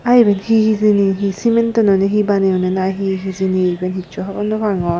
tey iben he hijeni he simentoi noney he baneyonney na he hijeni iben hissu hobor naw pangor.